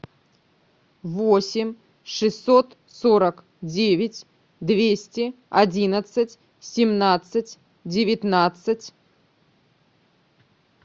восемь шестьсот сорок девять двести одиннадцать семнадцать девятнадцать